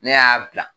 Ne y'a bila